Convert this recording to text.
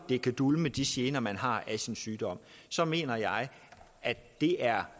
den kan dulme de gener man har af sin sygdom så mener jeg at vi er